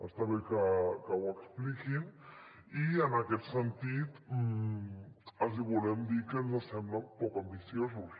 està bé que ho expliquin i en aquest sentit els hi volem dir que ens semblen poc ambiciosos